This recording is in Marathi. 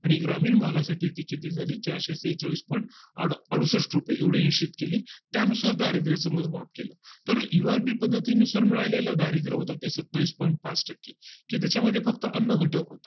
आणि ग्रामीण भागा साठी किती झाली चारशे सेहेचाळीस point अडुसष्ठ रुपये एवढी निश्चित केली त्यानुसार दारिद्र्या चे मोजमाप केले तर URB पद्धतीनुसार मिळेल आधारित होते सत्तावीस point पाच टक्के की त्याच्या मध्ये फक्त अन्न घटक होता